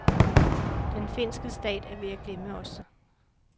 Den finske stat er ved at glemme os.